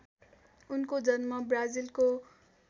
उनको जन्म ब्राजिलको